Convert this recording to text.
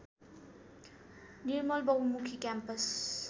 Nirmal Bahumukhi campus